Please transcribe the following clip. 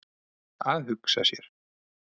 Að hugsa sér!